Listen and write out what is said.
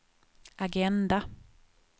agenda